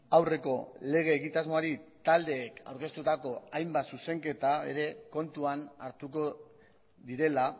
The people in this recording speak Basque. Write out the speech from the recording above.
aurreko lege egitasmoari taldeek aurkeztutako hainbat zuzenketa ere kontuan hartuko direla